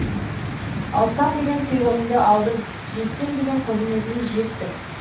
алсам деген сыйлығыңды алдың жетсем деген қызметіңе жеттің